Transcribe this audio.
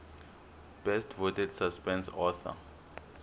best voted suspense author